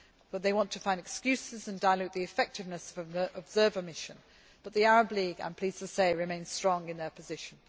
But they want to find excuses and dilute the effectiveness of an observer mission but the Arab League I am pleased to say remains strong in their position.